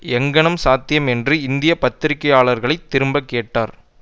எங்ஙனம் சாத்தியம் என்று இந்திய பத்திரிகையாளர்களைத் திரும்பக்கேட்டார்